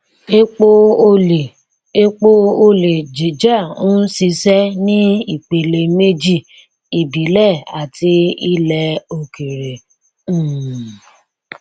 epo olè epo olè jíjà ń ṣiṣẹ ní ìpele méjì ìbílẹ àti ilẹ òkèèrè um